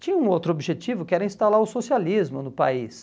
Tinha um outro objetivo que era instalar o socialismo no país.